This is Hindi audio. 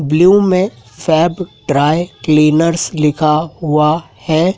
ब्लू में फैब ड्राई क्लीनर्स लिखा हुआ है।